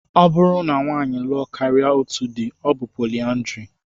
Ọ bụrụ na nwaanyị lụọ karịa otú dị, ọ bụ poliandrị